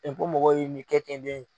mɔgɔw ye nin kɛ ten den.